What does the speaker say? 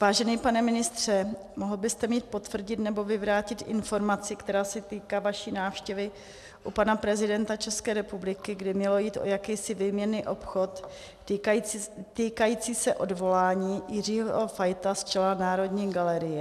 Vážený pane ministře, mohl byste mi potvrdit nebo vyvrátit informaci, která se týká vaší návštěvy u pana prezidenta České republiky, kdy mělo jít o jakýsi výměnný obchod týkající se odvolání Jiřího Fajta z čela Národní galerie?